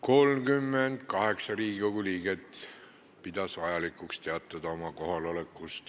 Kohaloleku kontroll 38 Riigikogu liiget pidas vajalikuks teatada oma kohalolekust.